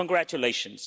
Congratulations.